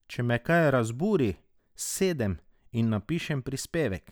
Če me kaj razburi, sedem in napišem pripevek.